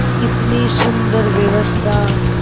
कितनी सुंदर व्यवस्था